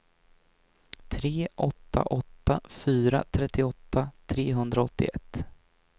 tre åtta åtta fyra trettioåtta trehundraåttioett